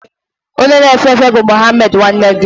Onye na-efe efe bụ Muhammed nwanne gị?